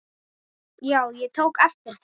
Já, ég tók eftir þeim.